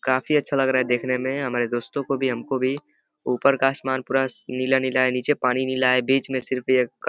काफी अच्छा लग रहा है देखने में हमारे दोस्तों को भी हमको भी। ऊपर का आसमान पूरा नीला-नीला है नीचे पानी नीला है बीच में सिर्फ ये --